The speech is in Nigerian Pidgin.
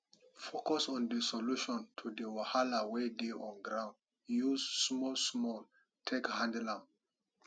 focus on di solution to the wahala wey dey on ground use small small take handle am